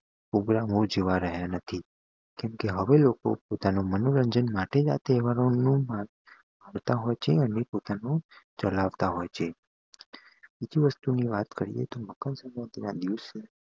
કેમકે હવે લોકો પોતાના મનોરંજન માટે તેહવારો હોય છે અને પોતાનું ચલાવતા હોય છે બીજી વસ્તુ ની વાત કરીયે તોષ મકર સંક્રાંતિ ના દિવસે